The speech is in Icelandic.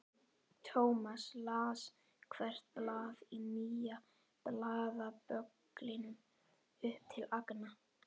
Thomas las hvert blað í nýja blaðabögglinum upp til agna.